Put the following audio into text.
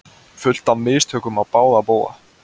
Fullt af mistökum á báða bóga